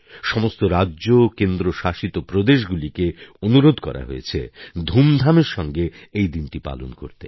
সমস্ত রাজ্য ও কেন্দ্রশাসিত প্রদেশগুলিকে অনুরোধ করা হয়েছে ধুমধামের সঙ্গে এই দিনটি পালন করতে